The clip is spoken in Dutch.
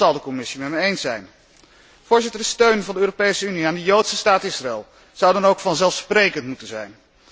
Dat zal de Commissie met me eens zijn. Voorzitter, de steun van de Europese Unie aan de joodse staat Israël zou dan ook vanzelfsprekend moeten zijn.